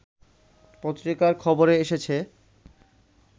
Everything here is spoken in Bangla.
পত্রিকার খবরে এসেছে